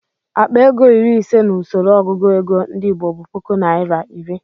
Akpa ego iri ise n'usoro ọgụgụ ego ndị Igbo bụ puku naira iri.